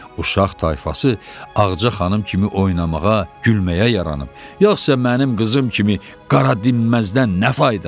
Uşaq tayfası Ağca xanım kimi oynamağa, gülməyə yaranıb, yoxsa mənim qızım kimi qara dinməzdən nə fayda?